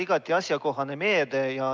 Igati asjakohane meede.